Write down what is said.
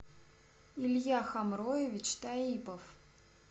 илья хамроевич таипов